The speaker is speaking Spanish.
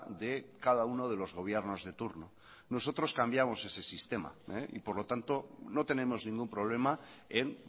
de cada uno de los gobiernos de turno nosotros cambiamos ese sistema y por lo tanto no tenemos ningún problema en